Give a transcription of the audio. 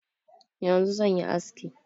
Yanzu zan yi aski.